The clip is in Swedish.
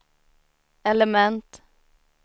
element